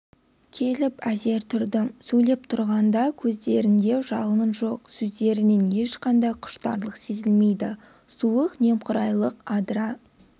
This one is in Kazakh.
келіп әзер тұрдым сөйлеп тұрғанда көздерінде жалын жоқ сөздерінен ешқандай құштарлық сезілмейді суық немқұрайлық адыра